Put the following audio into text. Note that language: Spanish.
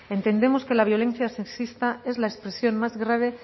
entendemos que la violencia sexista es la expresión más grave